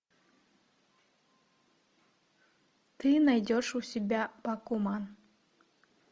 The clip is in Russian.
ты найдешь у себя пакуман